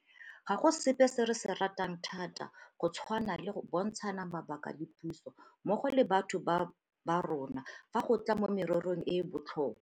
Ga go sepe se re se ratang thata go tshwana le go bontshana mabaka le puso mmogo le batho ba borona fa go tla mo mererong e e botlhokwa.